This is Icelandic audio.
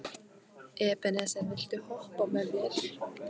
Ebeneser, viltu hoppa með mér?